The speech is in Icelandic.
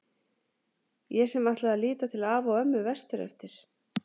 Ég sem ætlaði að líta til afa og ömmu vestur eftir.